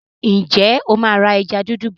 Ǹjẹ́ o máa ra ẹja dúdú bọ̀?